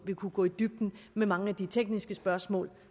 kunne gå i dybden med mange af de tekniske spørgsmål